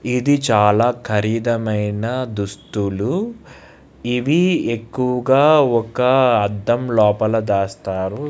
ఇది చాలాఖరీదైన దుస్తులు ఇవి ఎక్కువగా ఒక అడ్డం లోపల దాస్తారు